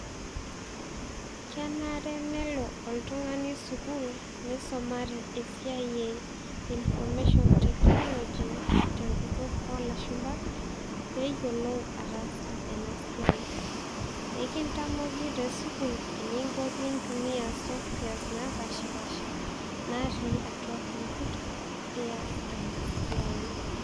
Kebare nelo oltung'ani sukuul, nisumare esiai e information technology ,tenkutuk olashumpa, peyiolou ataasa enasiai. Ekintamoki tesukuul eninko pintumia softwares napashipasha, natii atua computer, pias enasiai.